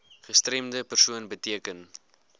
gestremde persoon beteken